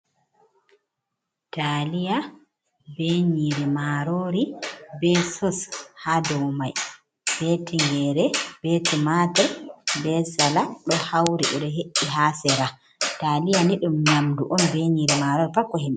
Taliya be nyiri marori, be soss ha dau mai. Be tingere be tumatur, be salat ɗo hauri, beɗo hee'i ha sera. Taliya ni ɗum nyamdu on be nyiri marori pat ko hiim.